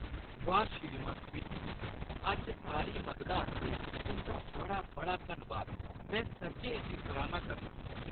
वाह्, श्रीमान स्मिथ, अज्ज सारी मददा आस्तै तुंʼदा बड़ा-बड़ा धन्नवाद, । मैं सच्चैं इसदी सराह्‌ना करनां!